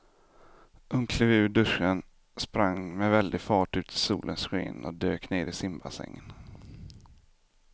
Hon klev ur duschen, sprang med väldig fart ut i solens sken och dök ner i simbassängen.